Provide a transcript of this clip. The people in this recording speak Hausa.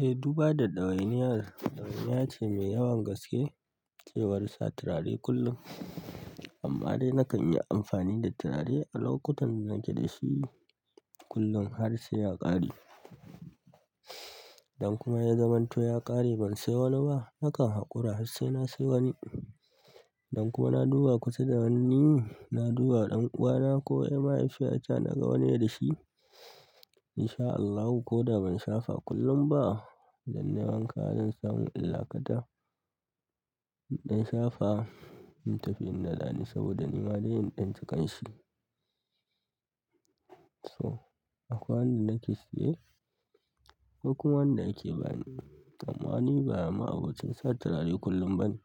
Eh, duba da ɗawainiya, ɗawainiya ce mai yawan gaske cewa sa turare kullum. Amma dai nakan yi amfani da turare a lokutan da nake dashi kullum har sai ya ƙare. Idan kuma ya zamanto ya ƙare ban sai wani ba, nakan haƙura har sai na sayi wani. Idan kuma na duba kusa da hannuni, na duba ɗan uwana ko mahaifiyata naga wani dashi. In sha Allahu ko da ban shafa kullum ba, idan nayi wanka zan samu in lakata. In danshafa, in tafi in daɗa ne saboda nima dai in ɗan ji ƙanshi. So, akwai wanda nake saye, akwai kuma wanda yake bani. Amma ni ba ma'abocin sa turare kullum ba ne.